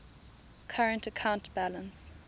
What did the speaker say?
current account balance